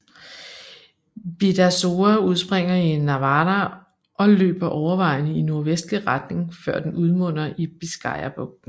Bidasoa udspringer i Navarra og løber overvejende i nordvestlig retning før den udmunder i Biscayabugten